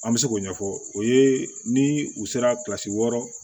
An bɛ se k'o ɲɛfɔ o ye ni u sera kilasi wɔɔrɔ